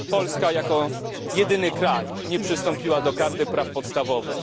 Polska jako jedyny kraj nie przystąpiła do Karty Praw Podstawowych.